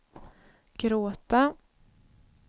gråta